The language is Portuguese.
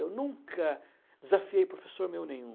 Eu nunca desafiei professor meu nenhum.